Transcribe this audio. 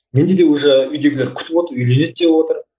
менде де уже үйдегілер күтіп отыр үйленеді деп отыр